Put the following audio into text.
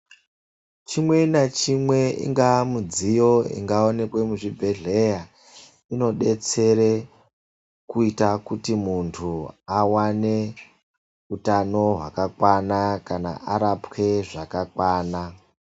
Chimwe nachimwe, ingaa midziyo ingawonekwa muzvibhedhlera, inodetsera kuita kuti muntu awane hutano hwakakwana kana arapwe zvakakwana.